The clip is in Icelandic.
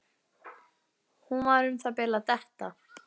Hún var um það bil að detta.